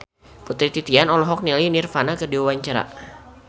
Putri Titian olohok ningali Nirvana keur diwawancara